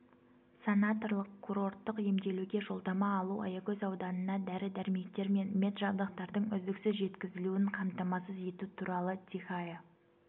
санаторлық курорттық емделуге жолдама алу аягөз ауданына дәрі-дәрмектер мен меджабдықтардың үздіксіз жеткізілуін қамтамасыз ету туралы тихая